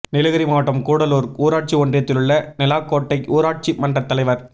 நீலகிரி மாவட்டம் கூடலூா் ஊராட்சி ஒன்றியத்திலுள்ள நெலாக்கோட்டை ஊராட்சி மன்ற தலைவா்